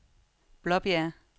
Blåbjerg